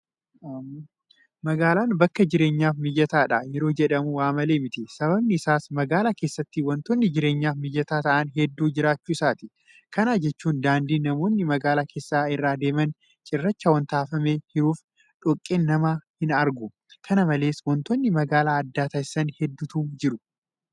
Magaalaan bakka jireenyaaf mijataadha yeroo jedhamu waamalee miti. Sababni isaas magaalaa keessatti waantonni jireenyaaf mijataa ta'an hedduun jiraachuu isaati. Kana jechuun daandiin namoonni magaalaa keessatti irra deeman cirracha waanta afamee hiruuf dhoqqeen nama hinargu. Kana malees waantonni magaalaa adda taasisan hedduutu jira.